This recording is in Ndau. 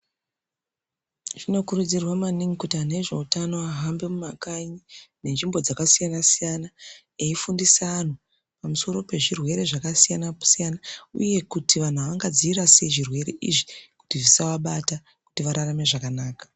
Zvinokurudzirwa maningi kuti antu ezveutano ahambe mumakanyi nenzvimbo dzakasiyana-siyana eifundisa vantu pamusoro pezvirwere zvakasiyana -siyana uye kuti vantu vangadzivirira sei zvirwere izvi kuti zvisavabata kuti vararame zvakanaka.